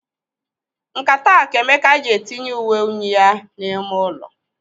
Nkata a ka Emeka ji etinye uwe unyi ya n'ime ụlọ.